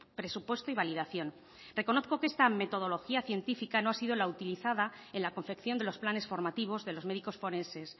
presupuesto y validación reconozco que esta metodología científica no ha sido la utilizada en la confección de los planes formativos de los médicos forenses